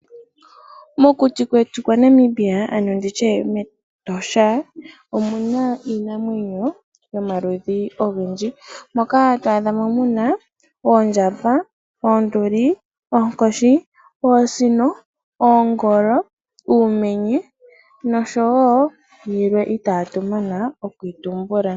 Mokuti kwetu kwaNamibia ano nditye mEtosha omuna iinamwenyo yomaludhi ogendji moka to adha mo muna oondjamba, oonduli, oonkoshi, oosino, oongolo, uumenye, nosho wo yilwe itatu mana okuyi tumbula.